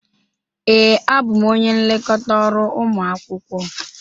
Ee, abụ m onye nlekọta ọrụ ụmụ akwụkwọ.